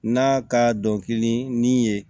N'a ka dɔnkili ni ye